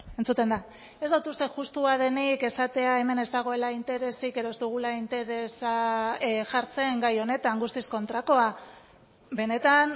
entzuten da ez dut uste justua denik esatea hemen ez dagoela interesik edo ez dugula interesa jartzen gai honetan guztiz kontrakoa benetan